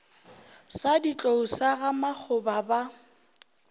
sa ditlou sa gamakgoba ba